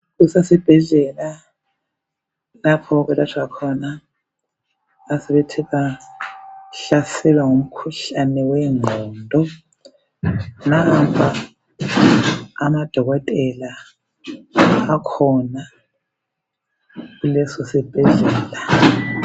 Kusesibhedlela lapho okwelatshwa khona asebethe bahlaselwa ngumkhuhlane wenqondo. Kukhona odokotela kuleso sibhedlela.